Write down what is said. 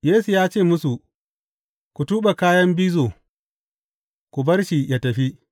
Yesu ya ce musu, Ku tuɓe kayan bizo, ku bar shi yă tafi.